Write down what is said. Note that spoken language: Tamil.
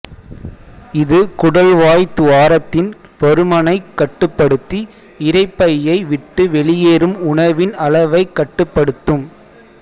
இது குடல்வாய்த் துவாரத்தின் பருமனைக் கட்டுப்படுத்தி இரைப்பையை விட்டு வெளியேறும் உணவின் அளவைக் கட்டுப்படுத்தும்